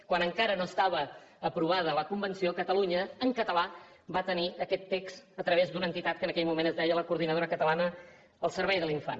quan encara no estava aprovada la convenció catalunya en català va tenir aquest text a través d’una entitat que en aquell moment es deia coordinadora catalana al servei de l’infant